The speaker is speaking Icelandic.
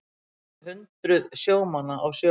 Jafnvel hundruð sjómanna á sjó